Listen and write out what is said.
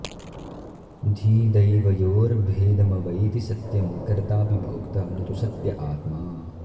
धीदैवयोर्भेदमवैति सत्यं कर्ताऽपि भोक्ता न तु सत्य आत्मा